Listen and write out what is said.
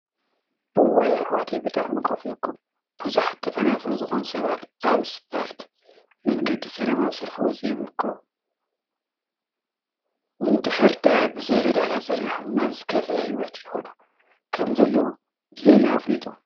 እዋይ አሕዋተይ ብጣዕሚ ከፊኡኩም! ቡዙሓት ተፈናቀል ዝኮኑ ሰባት አብ እስፓልት መንገዲ ሰላማዊ ሰልፊ ወፂኦም ይርከቡ፡፡ እምድሕር ደአ ብዘይ ረዳእታ ፀኒሖም ናብ ዝከፍአ ሂወት ይከዱ ከም ዘለው ብዜና አፍሊጡ፡፡